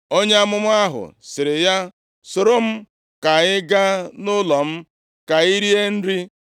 Onye amụma ahụ sịrị ya, “Soro m ka anyị gaa nʼụlọ m, ka i rie nri.”